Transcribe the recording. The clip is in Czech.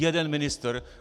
Jeden ministr.